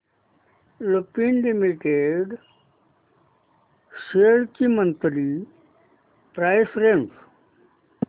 Lupin limited shares ची monthly price range